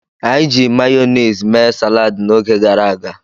Anyi ji mayonezi mee salad n'oge garaga